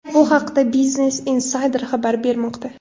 Bu haqda Business Insider xabar bermoqda .